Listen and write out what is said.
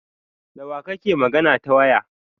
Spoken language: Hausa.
Dawa kake magana ta waya?